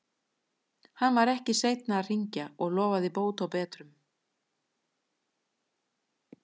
Hann var ekki seinn að hringja og lofaði bót og betrun.